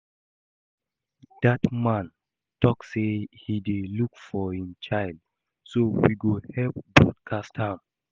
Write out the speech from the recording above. Dat man talk say he dey look for im child so we go help broadcast am